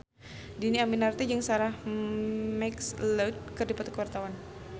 Dhini Aminarti jeung Sarah McLeod keur dipoto ku wartawan